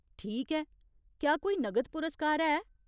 ठीक ऐ, क्या कोई नगद पुरस्कार है ?